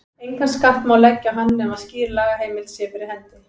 Engan skatt má leggja á nema skýr lagaheimild sé fyrir hendi.